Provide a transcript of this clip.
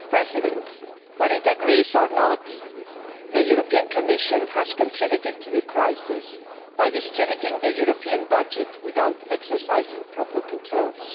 Mr President, whether it agrees or not, the European Commission has contributed to the crisis by distributing the European budget without exercising proper controls.